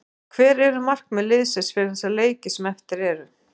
En hver eru markmið liðsins fyrir þessa leiki sem eftir eru?